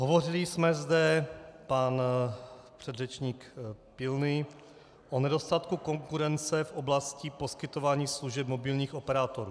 Hovořili jsme zde, pan předřečník Pilný, o nedostatku konkurence v oblasti poskytování služeb mobilních operátorů.